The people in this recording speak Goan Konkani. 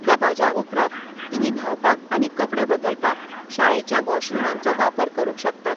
दबाज्या उपरांत, तुमी न्हावपाक आनी कपडे बदलपाक शाळेच्या वॉशरुमांचो वापर करूंक शकतात.